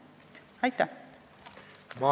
Aitäh!